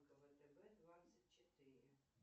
втб двадцать четыре